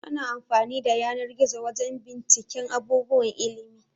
Ana amfani da yanar-gizo wajan binciken abubuwan ilimi